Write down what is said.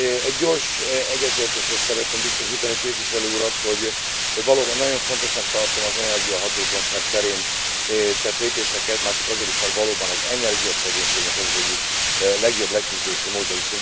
Egy gyors egyetértésről szeretném biztosítani képviselő urat, hogy valóban nagyon fontosnak tartom az energiahatékonyság terén tett lépéseket már csak azért is, mert valóban az energiaszegénységnek ez az egyik legjobb leküzdési módja.